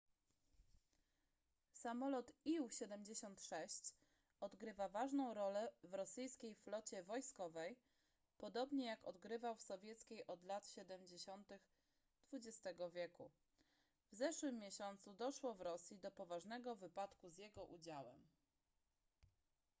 samolot ił-76 odgrywa ważną rolę w rosyjskiej flocie wojskowej podobnie jak odgrywał w sowieckiej od lat 70 xx wieku w zeszłym miesiącu doszło w rosji do poważnego wypadku z jego udziałem